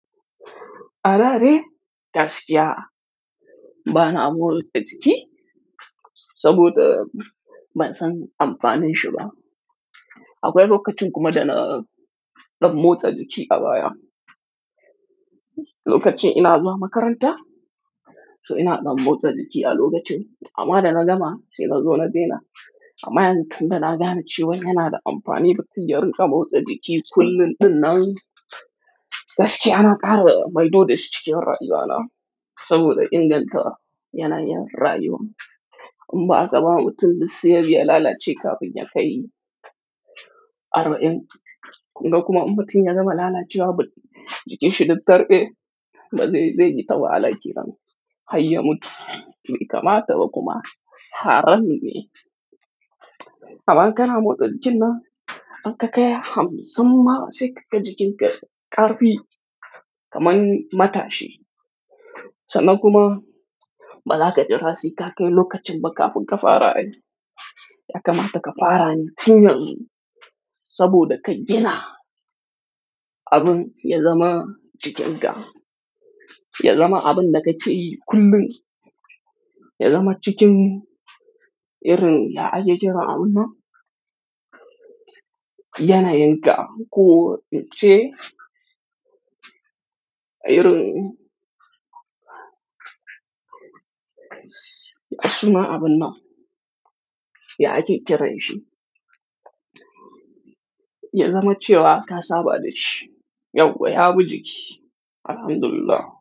Alare gaskiya bana motsa jiki saboda ban san amfanin shi ba. Akwai lokacin kuma da na ɗan motsa jiki a baya. Lokacin ina zuwa makaranta, so ina ɗan motsa jiki a lokacin. Amma da na gama sai na zo na daina. Amma yanzu tun da na gane cewa yana da amfani, ba kinyar in ɗan motsa jiki kullum ɗinnan. Gaskiya na ƙara maido dashi cikin rayuwana saboda inganta yanayin rayuwa. In ba a zaman tun bisa biyu ya lalace kafin ya kai arba'in. Kuma in ba kin ya gama lalacewa, jikin shi duk karɓe. Da zai yi tawala, kenan hayye mutu. Mai kamata kuma haramun ne. Amma kana motsa jikina, in ka kai hamsin ma sai ka kai jikinka ƙarfi kamar mata shi. Sana kuma ba za ka jira sai ka kai lokacin ba kafin ka fara yi. Ya kamata ka fara yin tun yanzu saboda ka gina abin ya zama jikinka. Ya zama abin da kakeyi kullum. Ya zama jikin irin ya ake kiran abun nan yanayin ka ko ince irin ya sunan abin nan ya ake kiranshi. Ya zama cewa ka saba da shi. Yauwa ya bi jiki. Alhamdulillah.